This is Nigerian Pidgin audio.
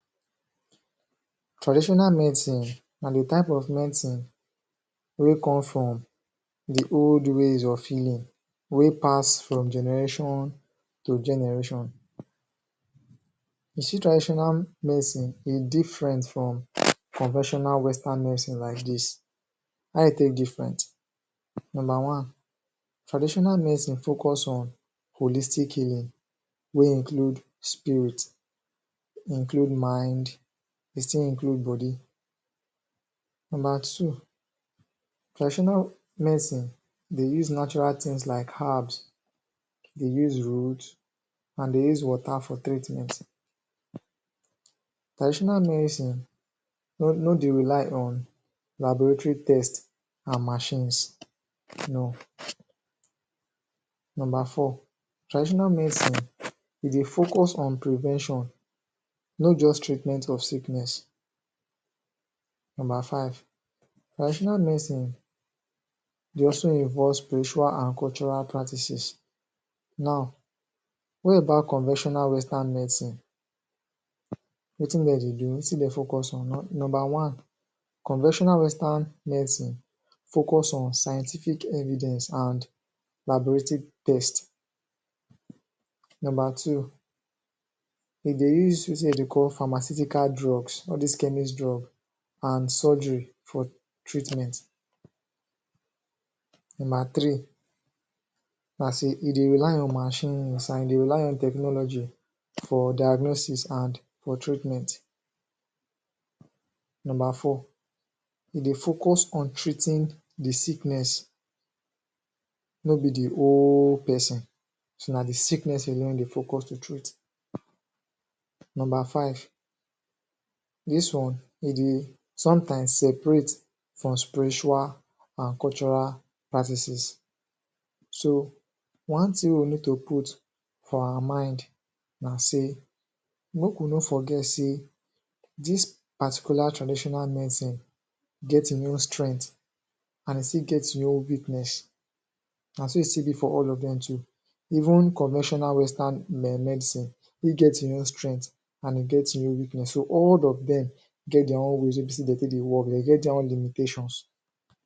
Traditional medicine na the type of medicine wey come from the old ways of healing wey pass from generation to generation you see traditional medicine e different from conventional Western medicine like dis a e take different number one traditional medicine focus on holistic healing wey include spirit include mind e still include body number two traditonal medicine dey use natural things like herbs dey use root and dey use water for treatment traditional medicine no, no de rely on laboratory test and machines no number four traditional medicine e dey focus on prevention not just treatment of sickness number five traditional medicine dey also involve spiritual and cultural practices now wor ebout conventional Western medicine wetin de dey do wetin de focus on Number one conventional Western medicine focus on scientific evidence and laboratory test number two e dey use wetin de dey call pharmaceutical drugs all dis chemics drug and surgery for treatment number three as in e dey rely on machines, e dey rely on tchnology for diagnosis and for treatment number four e dey focus on treating the sickness no be de whole person na the sickness alone e dey focus to treat number five dis one e dey sometimes seperate from spiritual and cultural practices so one thing wey we need to put for our mind na sey make we no forget sey dis particlar traditional medicine get in own strength and e still get in own weakness na so e still be for all of dem too even conventional Western me medicine e get e own strength and e get e own weakness, so all of dem get their own reasons wey de take dey work, dey get dia own limitations